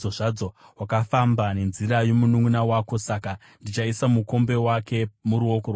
Wakafamba nenzira yomununʼuna wako; saka ndichaisa mukombe wake muruoko rwako.